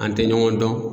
An tɛ ɲɔgɔn dɔn